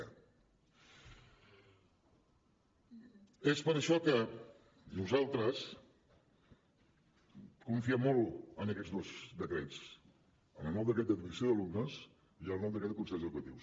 és per això que nosaltres confiem molt en aquests dos decrets en el nou decret d’admissió d’alumnes i el nou decret de concerts educatius